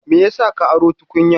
Me ya sa ka aro tukunyan?